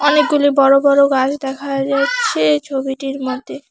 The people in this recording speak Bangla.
অনেকগুলো বড় বড় গাছ দেখা যাচ্ছে এই ছবিটির মধ্যে।